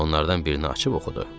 Onlardan birini açıb oxudu.